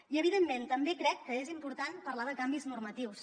i evidentment també crec que és important parlar de canvis normatius